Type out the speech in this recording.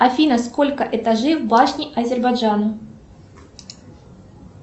афина сколько этажей в башне азербайджана